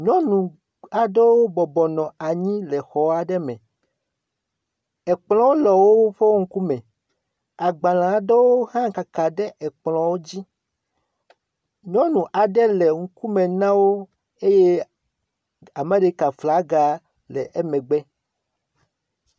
Nyɔnu aɖewo bɔbɔnɔ anyi le xɔ aɖe me. Ekplɔ le woe ŋkume. Agbale aɖewo hã kaka ɖe ekplɔao dzi. Nyɔnu aɖe le ŋkume na wo eye Amerika flaga le emegbe.